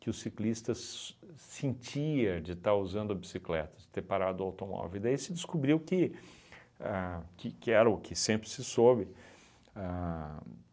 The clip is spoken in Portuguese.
que o ciclistas sentia de estar usando a bicicletas, de ter parado a automóvel e daí se descobriu que a que que era o que sempre se soube. Ahn